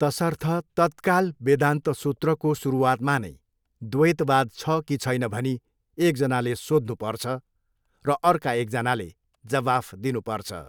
तसर्थ तत्काल वेदान्त सुत्रको सुरुवातमा नै द्वैतवाद छ कि छैन भनी एकजनाले सोध्नुपर्छ र अर्का एकजनाले जवाफ दिनुपर्छ।